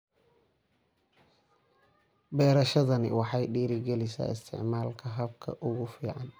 Beerashadani waxay dhiirigelisaa isticmaalka hababka ugu fiican.